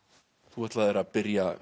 þú ætlaðir að byrja